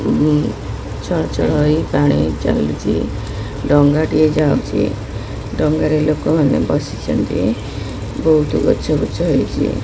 ଛଳଛଳ ହୋଇ ପାଣି ଚାଲିଛି ଡଙ୍ଗାଟିଏ ଯାଉଛି ଡଙ୍ଗାରେ ଲୋକମାନେ ବସିଛନ୍ତି ବହୁତ ଗଛବୃଛ ହୋଇଛି।